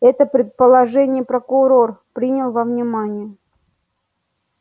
это предположение прокурор принял во внимание